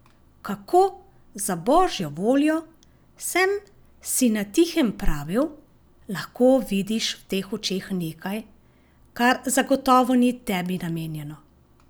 Kako, za božjo voljo, sem si na tihem pravil, lahko vidiš v teh očeh nekaj, kar zagotovo ni tebi namenjeno?